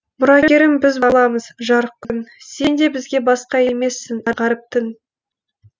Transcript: мұрагерің біз боламыз жарық күн сен де бізге басқа емессің ғаріп түн